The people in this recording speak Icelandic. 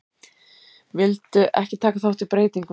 Vildu ekki taka þátt í breytingum